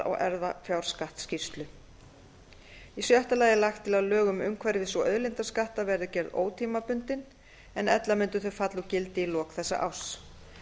á erfðafjárskattsskýrslu í sjötta lagi er lagt til að lög um umhverfis og auðlindaskatta verði gerð ótímabundin en ella mundu þau falla úr gildi í lok þessa árs